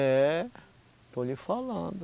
É. Estou lhe falando.